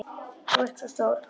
Þú ert svo stór.